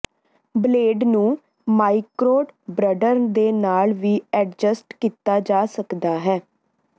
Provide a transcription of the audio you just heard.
blade ਨੂੰ ਮਾਈਕ੍ਰੋਡਬ੍ਰਡਰ ਦੇ ਨਾਲ ਵੀ ਐਡਜਸਟ ਕੀਤਾ ਜਾ ਸਕਦਾ ਹੈ